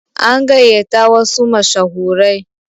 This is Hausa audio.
An gayata wasu mashahurai.